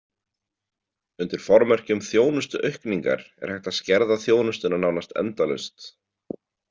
Undir formerkjum þjónustuaukningar er hægt að skerða þjónustuna nánast endalaust.